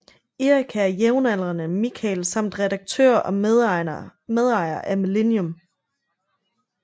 Erika er jævnaldrende med Mikael samt redaktør og medejer af Millennium